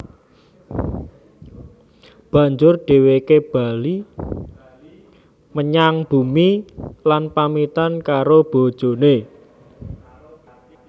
Banjur dhèwèké bali menyang bumi lan pamitan karo bojoné